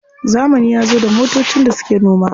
Zamani yazo da motocin da suke noma.